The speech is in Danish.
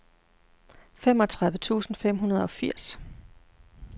femogtredive tusind fem hundrede og firs